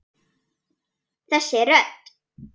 Þessi rödd!